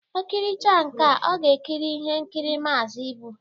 O kiricha nkea, ọ ga-ekiri ihe nkiri Maazi Ibu